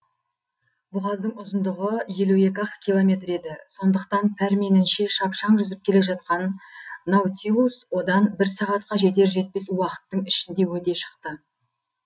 бұғаздың ұзындығы елу екі ақ километр еді сондықтан пәрменінше шапшаң жүзіп келе жатқан наутилус одан бір сағатқа жетер жетпес уақыттың ішінде өте шықты